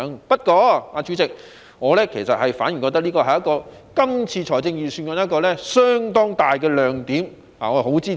不過，代理主席，我反而認為這是今年預算案一個相當大的亮點，我十分支持。